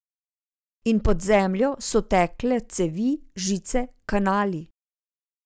In pod zemljo so tekle cevi, žice, kanali ...